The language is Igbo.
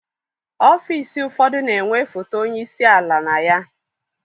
Ọfiisi ụfọdụ na-enwe foto onye isi ala na ya.